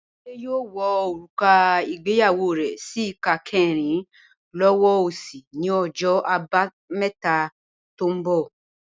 Bímpé yóò wọ òrùka ìgbéyàwó rẹ̀ sí ìka kẹ́rin lọ́wọ́ òsì ni ọjọ́ Àbámẹ́ta tó ń bọ̀